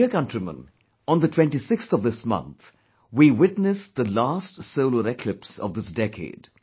My dear countrymen, on the 26th of this month, we witnessed the last solar eclipse of this decade